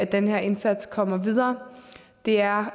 den her indsats kommer videre det er